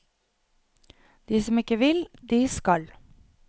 De som ikke vil, de skal.